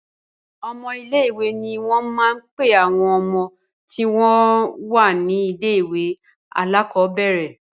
Ọmọ ilé-ìwé ni wọ́n máa ń pe àwọn ọmọ tí wọ́n wà ní ilé-ìwé alákọ̀ọ́bẹ̀rẹ̀.